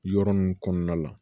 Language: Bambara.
Yɔrɔ ninnu kɔnɔna la